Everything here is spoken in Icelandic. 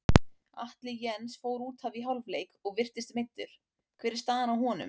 Atli Jens fór útaf í hálfleik og virtist meiddur, hver er staðan á honum?